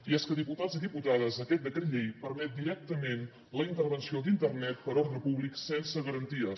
i és que diputats i diputades aquest decret llei permet directament la intervenció d’internet per ordre públic sense garanties